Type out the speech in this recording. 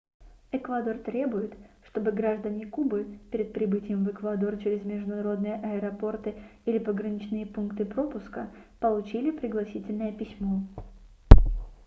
эквадор требует чтобы граждане кубы перед прибытием в эквадор через международные аэропорты или пограничные пункты пропуска получили пригласительное письмо